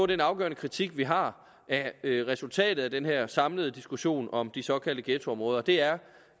den afgørende kritik vi har af resultatet af den her samlede diskussion om de såkaldte ghettoområder der er